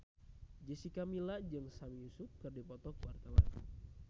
Jessica Milla jeung Sami Yusuf keur dipoto ku wartawan